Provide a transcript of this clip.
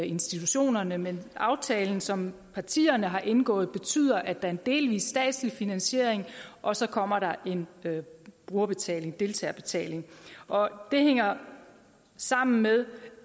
institutionerne men aftalen som partierne har indgået betyder at der er en delvis statslig finansiering og så kommer der en brugerbetaling deltagerbetaling det hænger sammen med